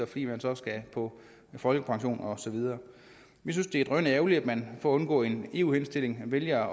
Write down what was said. fordi man så skal på folkepension og så videre vi synes det er drønærgerligt at man for at undgå en eu henstilling vælger at